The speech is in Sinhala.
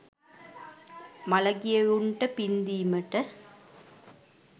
මළගියවුන්ට පින් දීමට